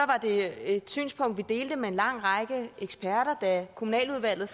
var det et synspunkt vi delte med en lang række eksperter da kommunaludvalget